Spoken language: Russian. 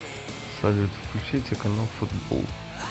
салют включите канал футбол